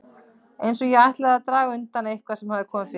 Eins ef ég ætlaði að draga undan eitthvað sem hafði komið fyrir.